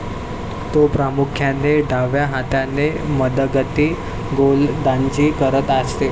तो प्रामुख्याने डाव्या हाताने मंदगती गोलंदाजी करत असे.